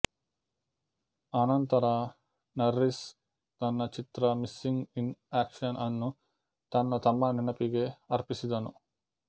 ಆನಂತರ ನಾರ್ರಿಸ್ ತನ್ನ ಚಿತ್ರ ಮಿಸ್ಸಿಂಗ್ ಇನ್ ಆಕ್ಷನ್ ಅನ್ನು ತನ್ನ ತಮ್ಮನ ನೆನಪಿಗೆ ಅರ್ಪಿಸಿದನು